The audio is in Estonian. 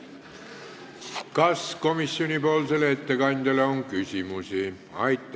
Kas komisjoni ettekandjale on küsimusi?